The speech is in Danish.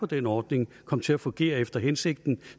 den ordning kommer til at fungere efter hensigten